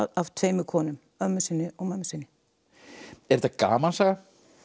af tveimur konum ömmu sinni og mömmu sinni er þetta gamansaga